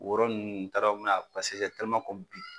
O yɔrɔ ninnu n t'a dɔn me na